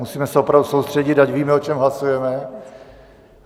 Musíme se opravdu soustředit, ať víme, o čem hlasujeme.